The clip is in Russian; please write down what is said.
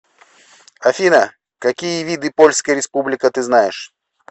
афина какие виды польская республика ты знаешь